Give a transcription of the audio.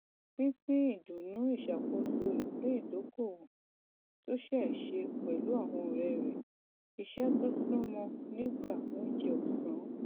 pínpín ìdùnnú ìṣàkóso ipin ìdokoowó tó ṣéé ṣe pẹlú àwọn ọrẹ iṣẹ tó súnmọ nígbà oúnjẹ ọsán